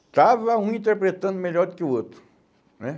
Estava um interpretando melhor do que o outro, né?